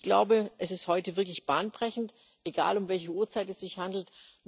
Ich glaube, es ist heute wirklich bahnbrechend, egal um welche Uhrzeit es sich handelt.